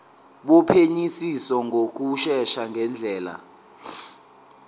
wophenyisiso ngokushesha ngendlela